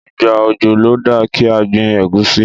Ìgbà òjò ló da kí a gbin ẹ̀gúsí.